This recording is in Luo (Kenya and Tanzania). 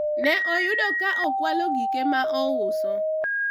ne oyude ka okwalo gike ma ouso